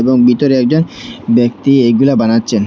এবং ভিতরে একজন ব্যক্তি এইগুলা বানাচ্ছেন।